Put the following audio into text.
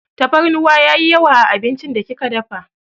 Tafarnuwa yayi yawa a abincin da kika dafa.